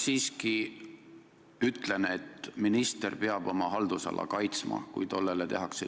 Ma siiski ütlen, et minister peab oma haldusala kaitsma, kui sellele liiga tehakse.